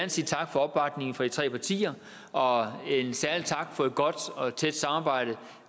sige tak for opbakningen fra de tre partier og en særlig tak for et godt og et tæt samarbejde